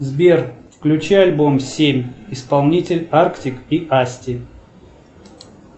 сбер включи альбом семь исполнитель артик и асти